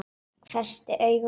Hvessti augun á hann.